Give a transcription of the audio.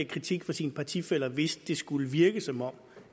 kritik fra sine partifæller hvis det skulle virke som om